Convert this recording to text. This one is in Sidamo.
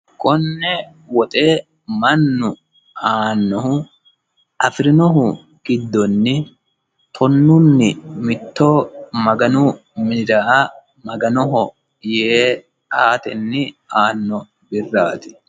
konne woxe mannu aannohu afirinohu giddonni tonunni mitto maganu minira maganoho yee aatenni anno birrati